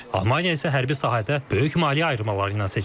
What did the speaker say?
Almaniya isə hərbi sahədə böyük maliyyə ayırmaları ilə seçilir.